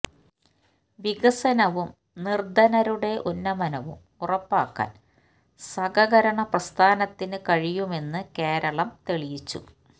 വികസനവും നിർധനരുടെ ഉന്നമനവും ഉറപ്പാക്കാൻ സഹകരണ പ്രസ്ഥാനത്തിന് കഴിയുമെന്ന് കേരളം തെളിയിച്ചു